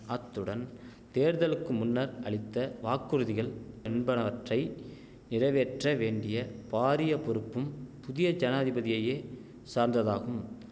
அத்துடன் தேர்தலுக்கு முன்னர் அளித்த வாக்குறுதிகள் என்பனவற்றை நிறைவேற்ற வேண்டிய பாரிய பொறுப்பும் புதிய ஜனாதிபதியையே சார்ந்ததாகும்